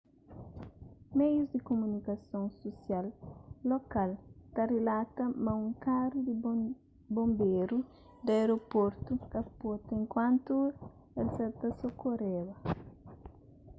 meius di kumunikason susial lokal ta rilata ma un karu di bonberu di aeroportu kapota enkuantu el sa ta sokoreba